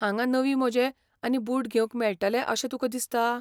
हांगा नवीं मोजे आनी बूट घेवंक मेळटले अशें तुका दिसता?